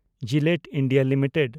Gillette India limited